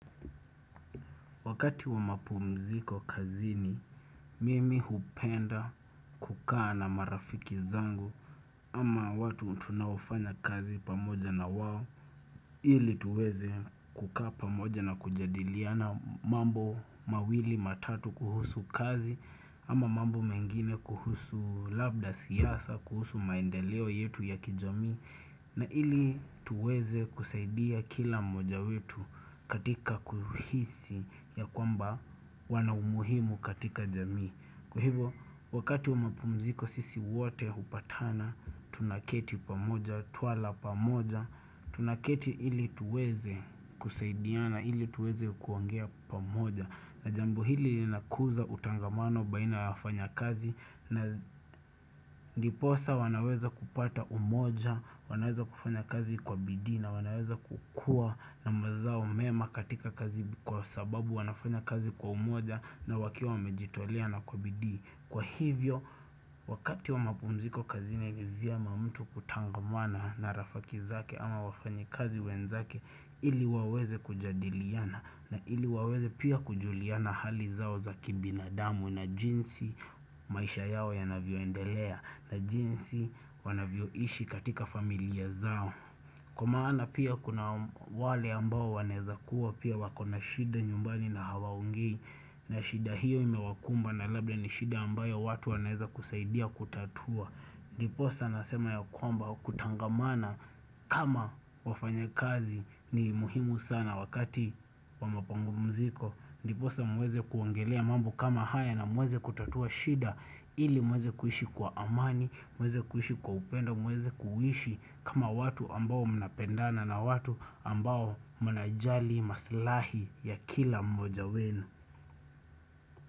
Wakati wa mapumziko kazini, mimi hupenda kuka na marafiki zangu ama watu tunaufanya kazi pamoja na wawo ili tuweze kuka pamoja na kujadiliana mambo mawili matatu kuhusu kazi ama mambo mengine kuhusu labda siyasa, kuhusu maendeleo yetu ya kijami na ili tuweze kusaidia kila moja wetu katika kuhisi ya kwamba wanaumuhimu katika jamii. Kwahivo, wakati wa mapumziko sisi wate hupatana, tunaketi pamoja, tuwala pamoja, tunaketi ili tuweze kusaidia na ili tuweze kuongea pamoja. Na jambu hili inakuza utangamano baina yafanya kazi, na ndiposa wanaweza kupata umoja, wanaweza kufanya kazi kwa bidhi na wanaweza kukua na mazao mema katika kazi kwa sababu wanafanya kazi kwa umoja na wakia wamejitolia na kwa bidhi Kwa hivyo wakati wa mapumziko kazini vyema mtu kutangamwana na rafakizake ama wafanyikazi wenzake ili waweze kujadiliana na ili waweze pia kujuliana hali zao za kibina damu na jinsi maisha yao yanavyoendelea na jinsi wanavyoishi katika familia zao. Kwa maana pia kuna wale ambao waneza kuwa pia wakona shida nyumbani na hawaongei na shida hiyo imewakumba na labda ni shida ambayo watu waneza kusaidia kutatua Ndiposa nasema ya kwamba kutangamana kama wafanya kazi ni muhimu sana wakati wa mapangu mziko Ndiposa muweze kuongelea mambo kama haya na muweze kutatua shida ili muweze kuhishi kwa amani, muweze kuhishi kwa upendo, muweze kuhishi kama watu ambao mnapendana na watu ambao mnajali maslahi ya kila mmoja wenu.